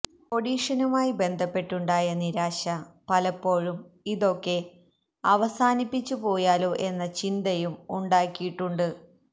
ഓഡിഷനുമായി ബന്ധപ്പെട്ടുണ്ടായ നിരാശ പലപ്പോഴും ഇതൊക്കെ അവസാനിപ്പിച്ചു പോയാലോ എന്ന ചിന്തയും ഉണ്ടാക്കിയിട്ടുണ്ട്